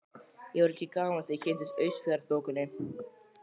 Ég var ekki gamall þegar ég kynntist Austfjarðaþokunni.